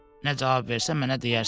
Nə cavab versə, mənə deyərsən.